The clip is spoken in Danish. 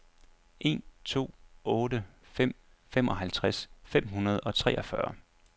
en to otte fem femoghalvtreds fem hundrede og treogfyrre